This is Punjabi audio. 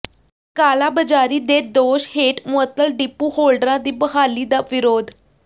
ਕਾਲਾਬਾਜ਼ਾਰੀ ਦੇ ਦੋਸ਼ ਹੇਠ ਮੁਅੱਤਲ ਡਿਪੂ ਹੋਲਡਰਾਂ ਦੀ ਬਹਾਲੀ ਦਾ ਵਿਰੋਧ